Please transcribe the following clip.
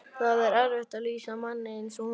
Það er erfitt að lýsa manni eins og honum.